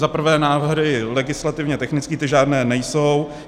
Za prvé návrhy legislativně technické, ty žádné nejsou.